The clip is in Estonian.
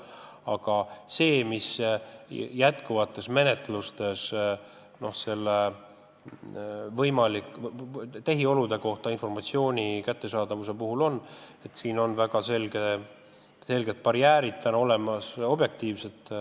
Aga käimasolevate menetluste puhul on krediidiasutuse tehiolude kohta informatsiooni kättesaamisel väga selged objektiivsed barjäärid olemas.